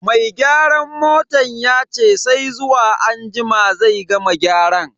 Mai gyaran motan yace sai zuwa anjima zai gama gyaran.